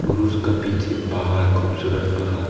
और उसका पीछे पहाड़ खूबसूरत पहाड़।